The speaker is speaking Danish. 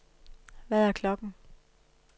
Hvad er klokken